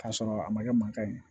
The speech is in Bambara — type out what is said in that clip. K'a sɔrɔ a ma kɛ mankan ye